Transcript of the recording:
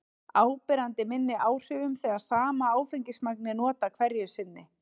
áberandi minni áhrifum þegar sama áfengismagn er notað hverju sinni